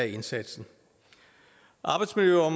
indsatsen